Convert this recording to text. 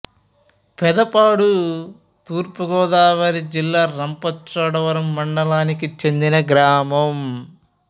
పెద్దపాడు తూర్పు గోదావరి జిల్లా రంపచోడవరం మండలానికి చెందిన గ్రామం